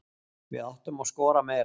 Við áttum að skora meira.